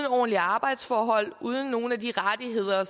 ordentlige arbejdsforhold uden nogen af de rettigheder